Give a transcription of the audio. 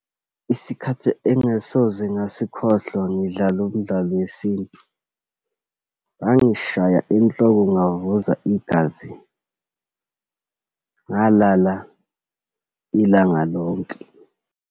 Isikhathi engasoze ngasikhohlwa, ngidlala umdlalo wesintu, bangishaya enhloko ngavuza igazi, ngalala ilanga lonke.